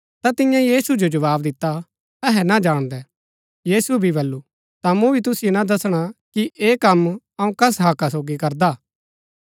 ता तिन्यै यीशु जो जवाव दिता अहै ना जाणदै यीशुऐ भी बल्लू ता मूँ भी तुसिओ ना दसणा कि ऐह कम अऊँ कस हक्का सोगी करदा